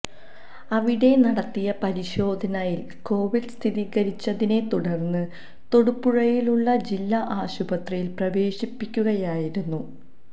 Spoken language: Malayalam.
അവിടെ നടത്തിയ പരിശോധനയിൽ കോവിഡ് സ്ഥിരീകരിച്ചതിനെ തുടർന്ന് തൊടുപുഴയിലുള്ള ജില്ലാ ആശുപത്രിയിൽ പ്രേവശിപ്പിക്കുകയായിരുന്നു